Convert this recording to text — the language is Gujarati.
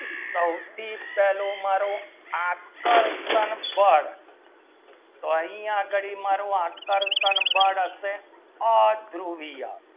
સૌથી પહેલું મારું આકર્ષણ બળ તો અહીંયા આગળ મારું આકર્ષણ બળ અસે ળરુવીય